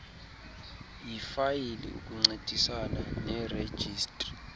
yifayile ukuncedisana nerejistri